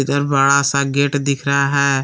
उधर बड़ा सा गेट दिख रहा है।